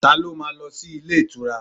Ta ló ma lọ sí ilé ìtura?